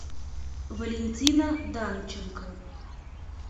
валентина данченко